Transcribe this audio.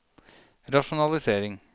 rasjonalisering